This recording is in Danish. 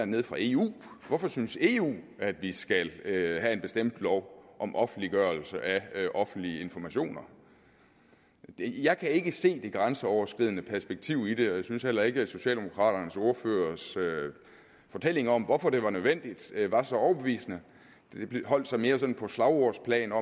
nede fra eu hvorfor synes eu at vi skal have en bestemt lov om offentliggørelse af offentlige informationer jeg kan ikke se det grænseoverskridende perspektiv i det og jeg synes heller ikke at socialdemokraternes ordførers fortælling om hvorfor det var nødvendigt var så overbevisende det holdt sig mere sådan på slagordsplanet